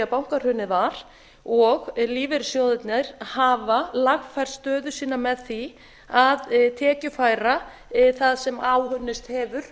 bankahrunið var og lífeyrissjóðina hafa lagfært stöðu sína með því að tekjufæra það sem áunnist hefur